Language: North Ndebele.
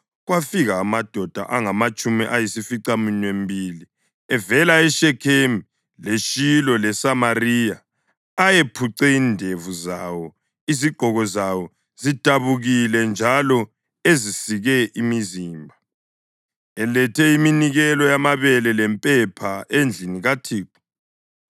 kwafika amadoda angamatshumi ayisificaminwembili evela eShekhemu, leShilo leSamariya ayephuce indevu zawo izigqoko zawo zidabukile njalo ezisike imizimba, elethe iminikelo yamabele lempepha endlini kaThixo.